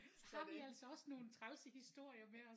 Så har vi altså også nogle trælse historier med os